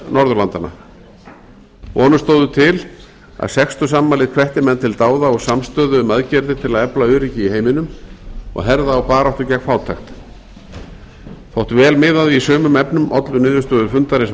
norðurlandanna vonir stóðu til að sextugsafmælið hvetti menn til dáða og samstöðu um aðgerðir til að efla öryggi í heiminum og herða á baráttu gegn fátækt þótt vel miðaði í sumum efnum ollu niðurstöður fundarins